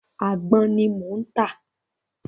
Àgbọn ni mò ń tà.